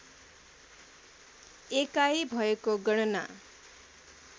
एकाई भएको गणना